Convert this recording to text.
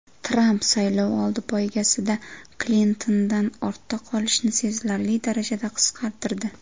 Tramp saylovoldi poygasida Klintondan ortda qolishni sezilarli darajada qisqartirdi.